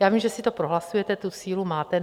Já vím, že si to prohlasujete, tu sílu máte.